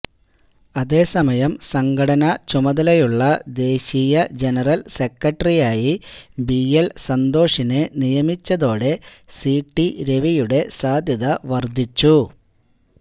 അതേ സമയം സംഘടനാ ചുമതലയുള്ള ദേശീയ ജനറൽ സെക്രട്ടറിയായി ബിഎൽ സന്തോഷിനെ നിയമിച്ചതോടെ സിടി രവിയുടെ സാധ്യത വർദ്ധിച്ചു